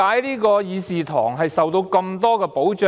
為何議事堂會受到這麼多保障？